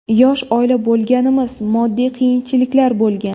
Yosh oila bo‘lganmiz, moddiy qiyinchiliklar bo‘lgan.